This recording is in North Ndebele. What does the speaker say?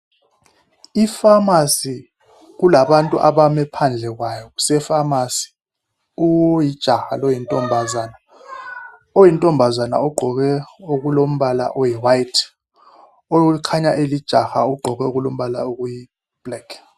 Iphamarcy, kulabantu abame phandle kwayo, kusepharmacy. Kulijaha loyintombazana. Oyintombazana ugqoke okulombala oyi white, okhanya elijaha ugqoke okulombala okuyi black.